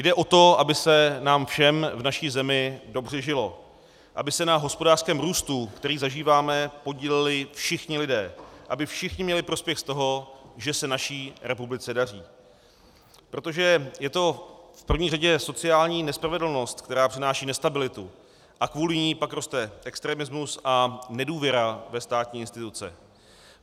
Jde o to, aby se nám všem v naší zemi dobře žilo, aby se na hospodářském růstu, který zažíváme, podíleli všichni lidé, aby všichni měli prospěch z toho, že se naší republice daří, protože je to v první řadě sociální nespravedlnost, která přináší nestabilitu, a kvůli ní pak roste extremismus a nedůvěra ve státní instituce.